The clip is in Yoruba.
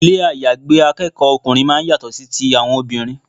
Ilé àyágbé akẹ́kọ̀ọ́ ọkùnrin máa ń yàtọ̀ sí ti àwọn obìnrin.